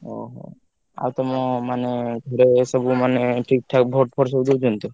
ଓହୋ! ଆଉ ତମ ମାନେ ଘରେ ସବୁ ମାନେ ଠିକ୍ ଠାକ vote ଫୋଟ୍ ସବୁ ଦଉଛନ୍ତି ତ?